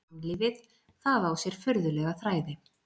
Mannlífið,- það á sér furðulega þræði.